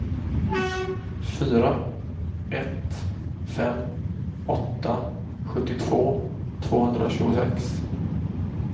fyra ett fem åtta sjuttiotvå tvåhundratjugosex